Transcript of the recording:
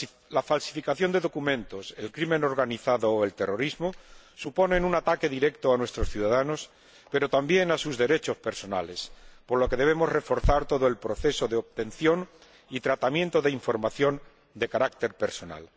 La falsificación de documentos, la delincuencia organizado o el terrorismo suponen un ataque directo a nuestros ciudadanos, pero también a sus derechos personales, por lo que debemos reforzar todo el proceso de obtención y tratamiento de información de carácter personal.